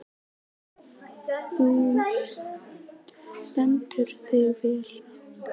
Þú stendur þig vel, Berghildur!